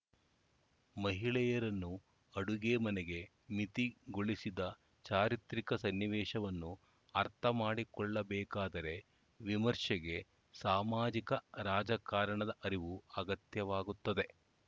ಮಹಿಳೆಯರನ್ನು ಅಡುಗೆ ಮನೆಗೆ ಮಿತಿಗೊಳಿಸಿದ ಚಾರಿತ್ರಿಕ ಸನ್ನಿವೇಶವನ್ನು ಅರ್ಥ ಮಾಡಿಕೊಳ್ಳಬೇಕಾದರೆ ವಿಮರ್ಶೆಗೆ ಸಾಮಾಜಿಕರಾಜಕಾರಣದ ಅರಿವು ಅಗತ್ಯವಾಗುತ್ತದೆ